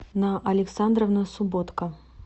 на александровна субботка